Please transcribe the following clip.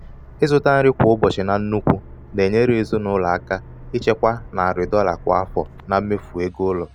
ịzụta nri kwa ụbọchị nri kwa ụbọchị na nnukwu na-enyere ezinụlọ aka ichekwa narị dolla kwa afọ na mmefu ego ụlọ.